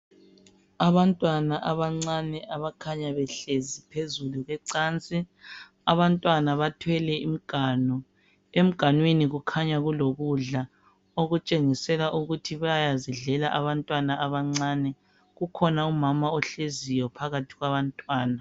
Abantwana bancane abakhanya behlezi phezulu kwecanci. Abantwana bathwele imganu, emganwini kukhanya kulokudla, okutshengiseka ukuthi bayazidlela abantwana abancane. Kukhona umama ohleziyo phakathi kwabantwana.